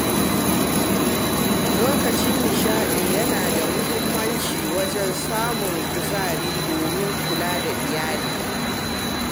Lokacin nishaɗi yana da muhimmanci wajen samun kuzari domin kula da iyali.